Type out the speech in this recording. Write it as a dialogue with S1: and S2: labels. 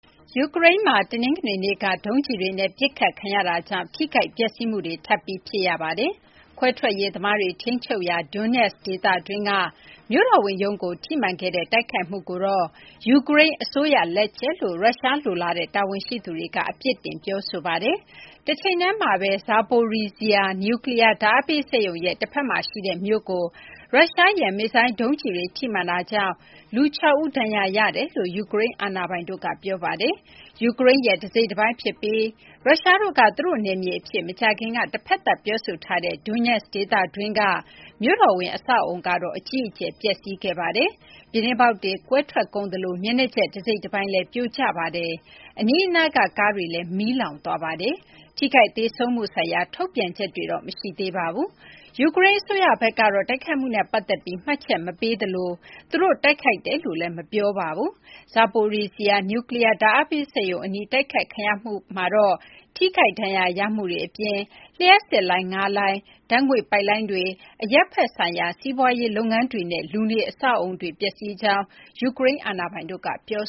S1: ယူကရိန်းမှာ တနင်္ဂနွေနေ့က ဒုံးကျည်တွေနဲ့ ပစ်ခတ်ခံရတာကြောင့် ထိခိုက်ပျက်စီးမှုတွေ ထပ်ပြီး ဖြစ်ရပါတယ်။ ခွဲထွက်ရေးသမားတွေ ထိန်းချုပ်ရာ Donetsk ဒေသတွင်းက မြို့တော်ဝန်ရုံးကို ထိမှန်ခဲ့တဲ့ တိုက်ခိုက်မှုကိုတော့ ယူကရိန်း အစိုးရ လက်ချက်လို့ ရုရှားလိုလားတဲ့ တာဝန်ရှိသူတွေက အပြစ်တင် ပြောဆိုခဲ့ပါတယ်။ တချိန်တည်းမှာဘဲ Zaporizhzhia နျူးကလီးယား ဓာတ်အားပေး စက်ရုံရဲ့ တဖက်မှာ ရှိတဲ့ မြို့ကို ရုရှားရဲ့ မစ်ဇိုင်း ဒုံးကျည်တွေ ထိမှန်တာကြောင့် လူ ၆ ဦး ဒဏ်ရာရရှိကြောင်း ယူကရိန်း အာဏာပိုင်တို့က ပြောဆိုထားပါတယ်။ ယူကရိန်းရဲ့ တစိတ်တပိုင်း ဖြစ်ပြီး ရုရှားတို့က သူတို့ နယ်မြေ အဖြစ် မကြာခင်က တဖက်သတ် ပြောဆိုထားတဲ့ Donetsk ဒေသတွင်းက မြို့တော်ဝန် အဆောက်အအုံကတော့ အကြီးအကျယ် ပျက်စီးခဲ့ပါတယ်။ ပြူတင်းပေါက်တွေ ကွဲထွက်ကုန်သလို မျက်နှာကျက် တစိတ်တပိုင်းလည်း ပြိုကျသွားပါတယ်။ အနီးအနားက ကားတွေလည်း မီးလောင်သွားပါတယ်။ ထိခိုက် သေဆုံးမှု ဆိုင်ရာ ထုတ်ပြန်ချက်တွေတော့ မရှိသေးပါဘူး။ ယူကရိန်း အစိုးရဘက်ကတော့ တိုက်ခိုက်မှုနဲ့ ပတ်သက်ပြီး မှတ်ချက် မပေးသလို သူတို့ တိုက်ခိုက်တယ်လို့လည်း ပြောဆိုမထားပါဘူး။ Zaporizhzhia နျူးကလီးယား ဓာတ်အားပေး စက်ရုံအနီး တိုက်ခိုက်ခံရမှုမှာတော့ ထိခိုက်ဒဏ်ရာ ရမှုတွေ အပြင် လျှပ်စစ် လိုင်း ၅ လိုင်း၊ ဓာတ်ငွေ့ပိုက်လိုင်းတွေ၊ အရပ်ဘက် ဆိုင်ရာ စီးပွားရေးလုပ်ငန်းတွေနဲ့ လူနေ အဆောက်အအုံတွေလည်း ပျက်စီးရကြောင်း ယူကရိန်း အာဏာပိုင်တို့က ပြော